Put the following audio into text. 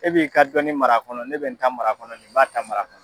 E b'i ka dɔnni mar'a kɔnɔ ne bɛ n ta mar'a kɔnɔ nin b'a ta mar'a kɔnɔ.